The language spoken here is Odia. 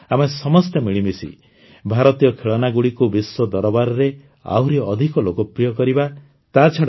ଆସନ୍ତୁ ଆମେ ସମସ୍ତେ ମିଳିମିଶି ଭାରତୀୟ ଖେଳନାଗୁଡ଼ିକୁ ବିଶ୍ୱ ଦରବାରରେ ଆହୁରି ଅଧିକ ଲୋକପ୍ରିୟ କରିବା